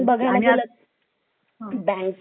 bank मध्ये तर खूप गरज आहे CCTV